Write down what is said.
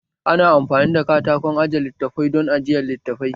Ana amfani da katakon aje littafai don ajiyan littafai